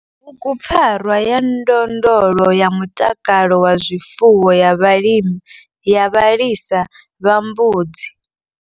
Bugupfarwa ya ndondolo ya mutakalo wa zwifuwo ya vhalisa vha mbudzi.